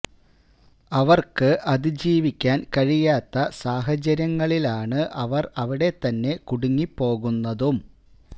അവർക്ക് അതിജീവിക്കാൻ കഴിയാത്ത സാഹചര്യങ്ങളിലാണ് അവർ അവിടെ തന്നെ കുടുങ്ങി പോകുന്നതും